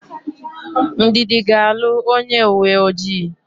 Ndidi ga-alụ onyeuweojii.